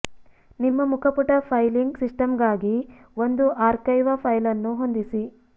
ನಿಮ್ಮ ಮುಖಪುಟ ಫೈಲಿಂಗ್ ಸಿಸ್ಟಮ್ಗಾಗಿ ಒಂದು ಆರ್ಕೈವ್ ಫೈಲ್ ಅನ್ನು ಹೊಂದಿಸಿ